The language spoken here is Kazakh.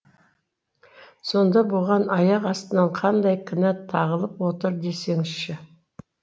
сонда бұған аяқ астынан қандай кінә тағылып отыр десеңізші